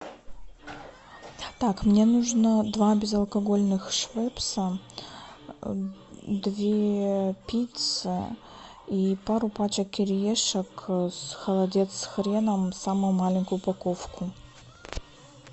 так мне нужно два безалкогольных швепса две пиццы и пару пачек кириешек холодец с хреном самую маленькую упаковку